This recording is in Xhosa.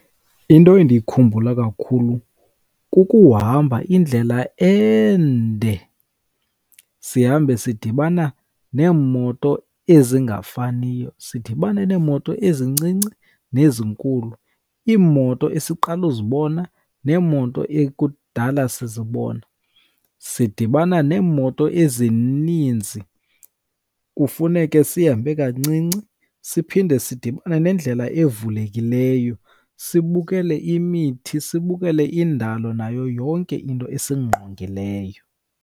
Into endiyikhumbula kakhulu kukuhamba indlela ende sihambe sidibana neemoto ezingafaniyo. Sidibane neemoto ezincinci nezinkulu, iimoto esiqala uzibona neemoto ekudala sizibona. Sidibana neemoto ezininzi kufuneke sihambe kancinci. Siphinde sidibane nendlela evulekileyo, sibukele imithi sibukele indalo nayo yonke into esingqongileyo.